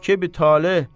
Kəvkəbi taleh.